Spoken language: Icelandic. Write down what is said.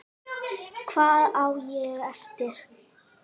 Hvað á ég eftir?